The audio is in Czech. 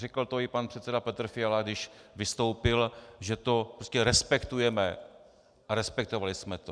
Řekl to i pan předseda Petr Fiala, když vystoupil, že to prostě respektujeme a respektovali jsme to.